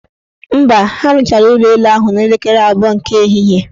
Mba, ha rụchara ụlọelu ahụ n' elekere abụọ nke ehihie.